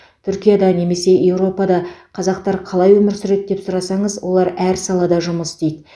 түркияда немесе еуропада қазақтар қалай өмір сүреді деп сұрасаңыз олар әр салада жұмыс істейді